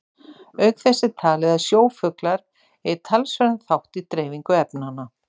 Auk þess er talið að sjófuglar eigi talsverðan þátt í dreifingu efnanna.